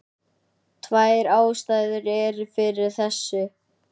Tvær ástæður eru fyrir þessu.